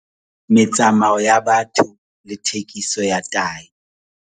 Metsamao ya batho le thekiso ya tahi